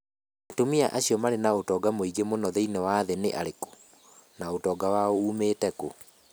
Atumia acio marĩ na ũtonga mũingĩ mũno thĩinĩ wa thĩ nĩ arĩkũ, na ũtonga wao uumĩte kũ?